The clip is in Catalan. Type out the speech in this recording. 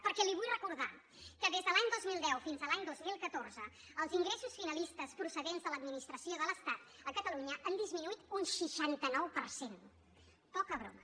perquè li vull recordar que des de l’any dos mil deu fins a l’any dos mil catorze els ingressos finalistes procedents de l’administració de l’estat a catalunya han disminuït un seixanta nou per cent poca broma